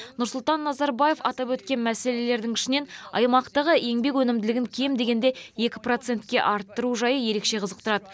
нұрсұлтан назарбаев атап өткен мәселелердің ішінен аймақтағы еңбек өнімділігін кем дегенде екі процентке арттыру жайы ерекше қызықтырады